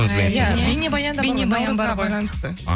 наурызға байланысты